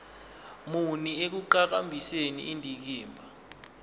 muni ekuqhakambiseni indikimba